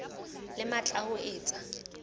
le matla a ho etsa